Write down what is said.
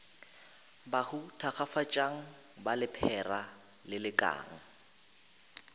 bahu thakgafatšang ba lephera lelekang